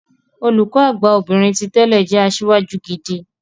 Olùkọ Àgbà obìnrin ti tẹ́lẹ̀ jẹ́ asíwájú gidi.